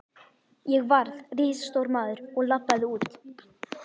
Ég varð risastór maður og labbaði út.